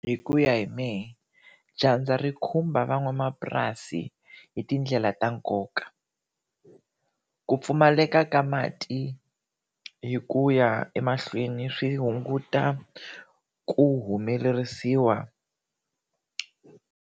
Hi ku ya hi mehe dyandza ri khumba van'wamapurasi hitindlela ta nkoka. Ku pfumaleka ka mati hi ku ya emahlweni swi hunguta ku humelerisiwa.